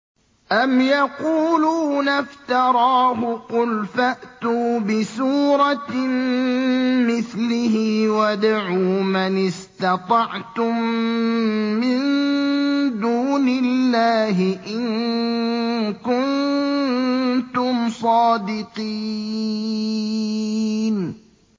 أَمْ يَقُولُونَ افْتَرَاهُ ۖ قُلْ فَأْتُوا بِسُورَةٍ مِّثْلِهِ وَادْعُوا مَنِ اسْتَطَعْتُم مِّن دُونِ اللَّهِ إِن كُنتُمْ صَادِقِينَ